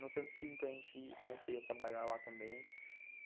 No Centro Cívico, a gente comecei a trabalhar lá também.